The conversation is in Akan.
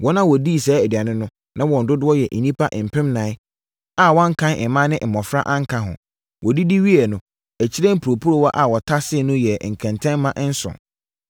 Wɔn a wɔdii saa aduane no, na wɔn dodoɔ yɛ nnipa mpemnan a wɔankan mmaa ne mmɔfra anka ho. Wɔdidi wieeɛ no, akyire mporoporowa a wɔtaseeɛ no yɛɛ nkɛntɛmma nson.